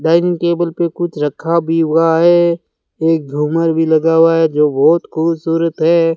Dining table पे कुछ रखा भी हुआ है एक झूमर भी लगा हुआ है जो बहोत खूबसूरत है।